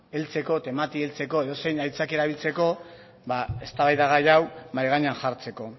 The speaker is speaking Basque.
heltzeko edozein aitzakia erabiltzeko ba eztabaida gai hau mahai gainean jartzeko